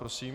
Prosím.